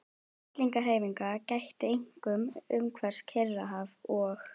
Fellingahreyfinga gætti einkum umhverfis Kyrrahaf og